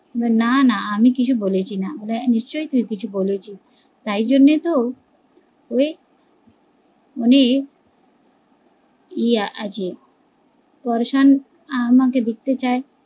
নানা আমি কিছু বলেছি না, নিশ্চই তুই কিছু বলেছিস, তাই জন্যই তো ওই মে ইয়ে আছে, আমাকে দেখতে চায়